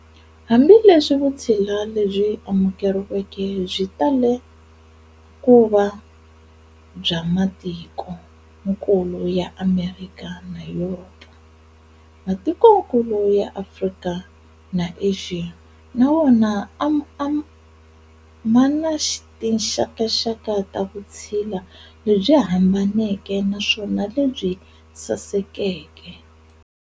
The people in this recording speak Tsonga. Hambi leswi vutshila lebyi amukeriweke byi tale kuva bya matikonkulu ya Amerika na Yuropa, Matikonkulu ya Afrika na Axiya na wona ma na tinxakanxaka ta vutshila lebyi hambaneke naswona lebyi sasekeke.